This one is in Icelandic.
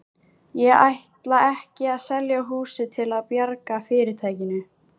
Ég ætla ekki að selja húsið til að bjarga fyrirtækinu.